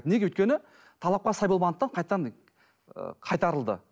неге өйткені талапқа сай болмағандықтан қайтадан ы қайтарылды